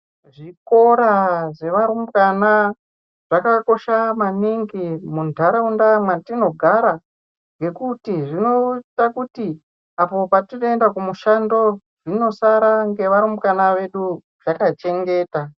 Zvikora zvevarumbwana zvakakosha maningi mundaraunda matinogara ngekuti zvinoita kuti Iko kwatinoenda kumishando zvinosara nevarumbwana zvakarongeka.